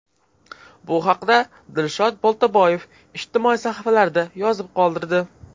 Bu haqda Dilshod Boltaboyev ijtimoiy sahifalarida yozib qoldirdi .